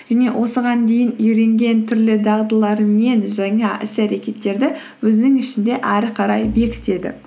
және осыған дейін үйренген түрлі дағдыларымен жаңа іс әрекеттерді өзінің ішінде әрі қарай бекітеді